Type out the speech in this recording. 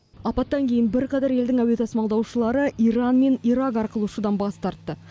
апаттан кейін бірқатар елдің әуе тасымалдаушылары иран мен ирак арқылы ұшудан бас тартты